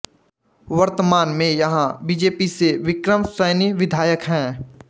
वर्तमान मैं यहाँ बीजेपी से विक्रम सैनी विधायक हैं